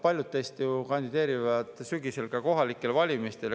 Paljud teist kandideerivad sügisel ka kohalikel valimistel.